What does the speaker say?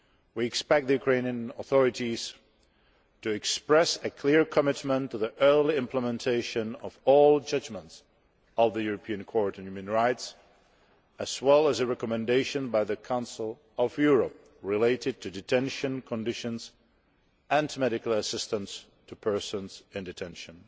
We expect the Ukrainian authorities to express a clear commitment to the early implementation of all judgments of the European Court of Human Rights, as well as a recommendation by the Council of Europe related to detention conditions and medical assistance to persons in detention.